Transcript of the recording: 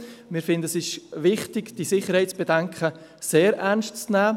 Wir finden es wichtig, dass man diese Sicherheitsbedenken sehr ernst nimmt.